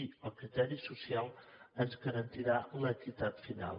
i el criteri social ens garantiran l’equitat final